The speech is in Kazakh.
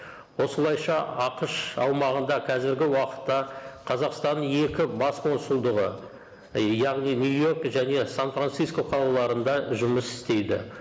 осылайша ақш аумағында қазіргі уақытта қазақстанның екі бас консулдығы яғни нью йорк және сан франциско қалаларында жұмыс істейді